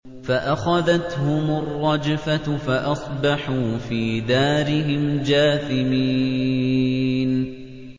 فَأَخَذَتْهُمُ الرَّجْفَةُ فَأَصْبَحُوا فِي دَارِهِمْ جَاثِمِينَ